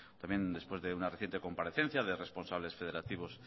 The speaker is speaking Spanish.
también después de una reciente comparecencia de responsables federativos